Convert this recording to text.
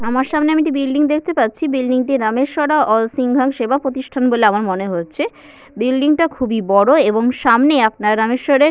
আমার সামনে আমি তো বিল্ডিং দেখতে পাচ্ছি বিল্ডিং টি রামেশ্বরা অল সিঙ্গম সেবা প্রতিষ্ঠান বলে আমার মনে হচ্ছে বিল্ডিং টা খুবই বড় এবং সামনে আপনার রামেশ্বর - এর --